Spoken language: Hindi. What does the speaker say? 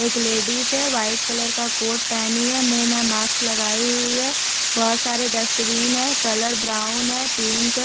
एक लेडीस है वाइट कलर का कोट पहेनी है मुंह में माक्स लगाई हुई है बहोत सारे डस्टबिन है कलर ब्राउन है पिंक है।